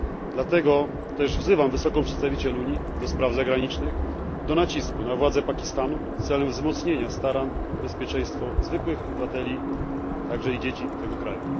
Dlatego też wzywam Wysoką Przedstawiciel Unii do spraw zagranicznych, do nacisku na władze Pakistanu celem wzmocnienia starań o bezpieczeństwo zwykłych obywateli, także i dzieci, tego kraju.